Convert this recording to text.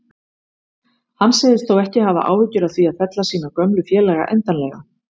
Hann segist þó ekki hafa áhyggjur af því að fella sína gömlu félaga endanlega.